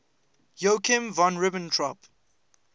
joachim von ribbentrop